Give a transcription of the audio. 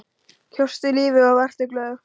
Kjóstu lífið og vertu glöð.